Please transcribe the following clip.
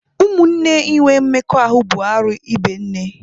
Ụmụnne inwe mmekọahụ bụ arụ ibe nne.